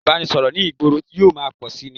Ọ̀nà ìbánisọ̀rọ̀ ní ìgboro yóò máa pọ̀ síi ni